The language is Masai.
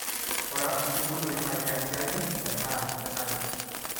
ore asuji inkoitoi na kiasi ake tena kenare.